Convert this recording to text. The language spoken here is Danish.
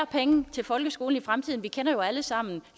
penge til folkeskolen i fremtiden vi kender jo alle sammen